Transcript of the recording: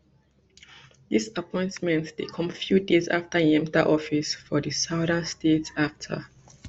dis appointment dey come few days afta im enta office for di southern state afta